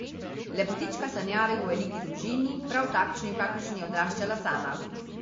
Lepotička sanjari o veliki družini, prav takšni, v kakršni je odraščala sama.